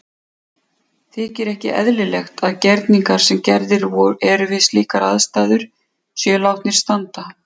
Þykir ekki eðlilegt að gerningar sem gerðir eru við slíkar aðstæður séu látnir standa.